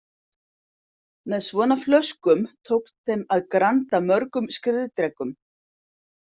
Með svona flöskum tókst þeim að granda mörgum skriðdrekum.